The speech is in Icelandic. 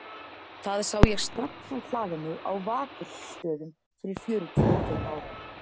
Það sá ég strax á hlaðinu á Vakursstöðum fyrir fjörutíu og fimm árum.